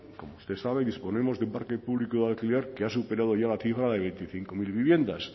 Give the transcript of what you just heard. como usted sabe disponemos de un parque público de alquiler que ha superado ya la cifra de veinticinco mil viviendas